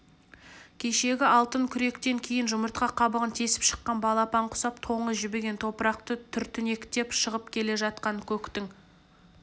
кешегі алтын күректен кейін жұмыртқа қабығын тесіп шыққан балапан құсап тоңы жібіген топырақты түртінектеп шығып келе жатқан көктің